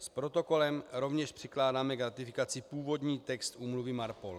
S protokolem rovněž přikládáme k ratifikaci původní text úmluvy MARPOL.